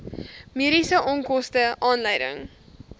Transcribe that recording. mediese onkoste aanleiding